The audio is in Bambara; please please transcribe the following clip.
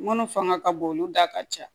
Munnu fanga ka bon olu da ka ca